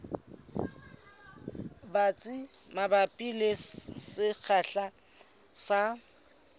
batsi mabapi le sekgahla sa